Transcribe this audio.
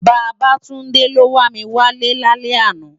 Babatunde ló wá mi wá lè làná